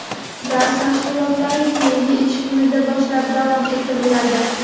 dars mashg‘ulotlari keyingi ish kunidan boshlab davom ettiriladi.